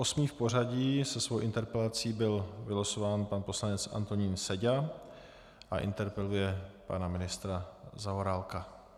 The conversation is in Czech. Osmý v pořadí se svou interpelací byl vylosován pan poslanec Antonín Seďa a interpeluje pana ministra Zaorálka.